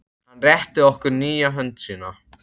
Hann rétti okkur hlýja hönd sína.